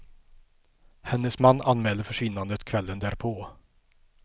Hennes man anmälde försvinnandet kvällen därpå.